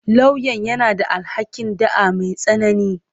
Lauyan yana da alhaƙin ɗa'a mai tsanani.